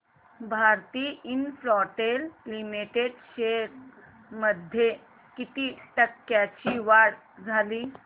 Bharti Infratel limited shares मध्ये किती टक्क्यांची वाढ झाली